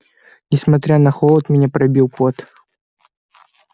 несмотря на холод меня пробил пот